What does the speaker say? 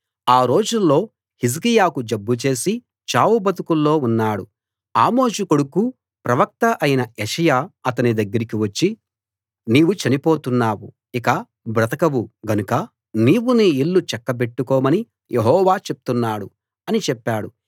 ఆ రోజుల్లో హిజ్కియాకు జబ్బు చేసి చావుబతుకుల్లో ఉన్నాడు ఆమోజు కొడుకూ ప్రవక్త అయిన యెషయా అతని దగ్గరికి వచ్చి నీవు చనిపోతున్నావు ఇక బ్రతకవు గనుక నీవు నీ ఇల్లు చక్కబెట్టుకోమని యెహోవా చెప్తున్నాడు అని చెప్పాడు